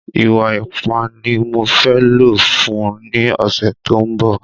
Ìwa ipá ni mo fē lò fun un ni ọ̀sẹ̀ tó ń bọ̀